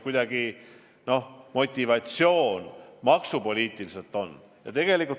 Milline see motivatsioon näiteks maksupoliitiliselt võiks olla?